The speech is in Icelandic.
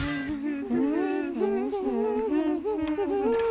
nú